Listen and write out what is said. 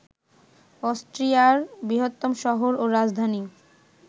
অস্ট্রিয়ার বৃহত্তম শহর ও রাজধানী